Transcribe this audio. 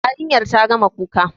Yarinya ta gama kuka.